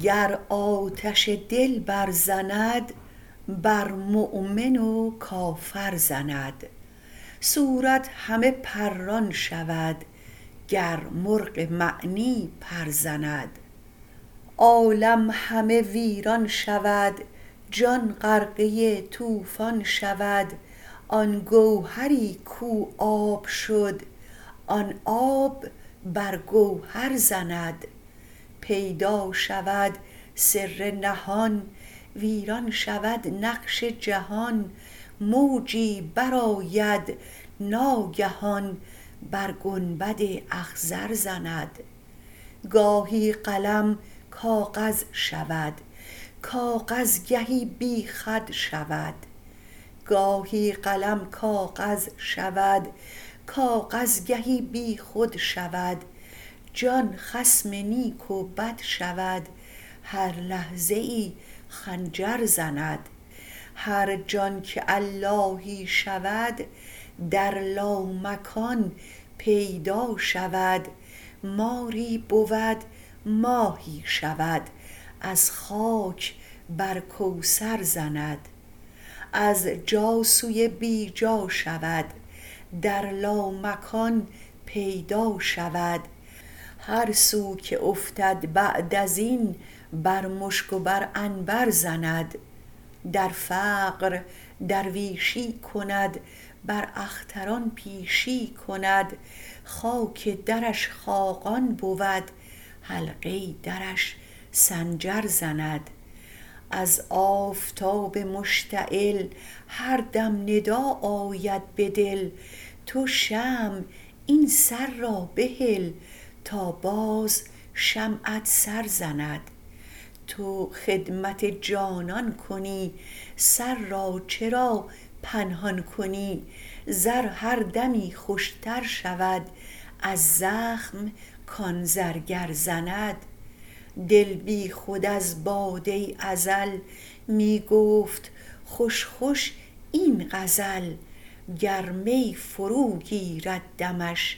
گر آتش دل برزند بر مؤمن و کافر زند صورت همه پران شود گر مرغ معنی پر زند عالم همه ویران شود جان غرقه طوفان شود آن گوهری کو آب شد آن آب بر گوهر زند پیدا شود سر نهان ویران شود نقش جهان موجی برآید ناگهان بر گنبد اخضر زند گاهی قلم کاغذ شود کاغذ گهی بیخود شود جان خصم نیک و بد شود هر لحظه ای خنجر زند هر جان که اللهی شود در لامکان پیدا شود ماری بود ماهی شود از خاک بر کوثر زند از جا سوی بی جا شود در لامکان پیدا شود هر سو که افتد بعد از این بر مشک و بر عنبر زند در فقر درویشی کند بر اختران پیشی کند خاک درش خاقان بود حلقه درش سنجر زند از آفتاب مشتعل هر دم ندا آید به دل تو شمع این سر را بهل تا باز شمعت سر زند تو خدمت جانان کنی سر را چرا پنهان کنی زر هر دمی خوشتر شود از زخم کان زرگر زند دل بیخود از باده ازل می گفت خوش خوش این غزل گر می فروگیرد دمش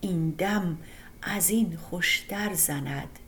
این دم از این خوشتر زند